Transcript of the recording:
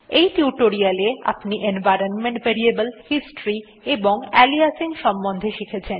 এই টিউটোরিয়ালে আপনি এনভাইরনমেন্ট ভ্যারিয়েবলস হিস্টরি এবং আলিয়াসিং এর সম্বন্ধে শিখেছেন